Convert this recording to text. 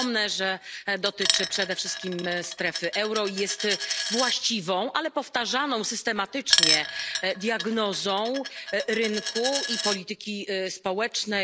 Przypomnę, że dotyczy przede wszystkim strefy euro, jest właściwą, ale powtarzaną systematycznie diagnozą rynku i polityki społecznej.